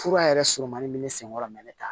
Fura yɛrɛ surumanin min bɛ ne sen kɔrɔ mɛ ne t'a